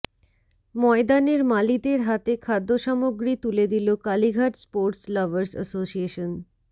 ময়দানের মালিদের হাতে খাদ্যসামগ্রী তুলে দিল কালীঘাট স্পোর্টস লাভার্স অ্যাসোশিয়েসন